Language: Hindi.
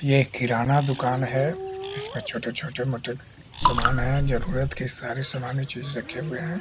ये किराना दुकान है इसमें छोटे-छोटे मोटे सामान है जरुरत के सारी सामानी चीज रखे हुए हैं।